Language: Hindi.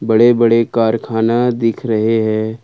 बड़े बड़े कारखाना दिख रहे है।